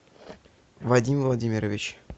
вадим владимирович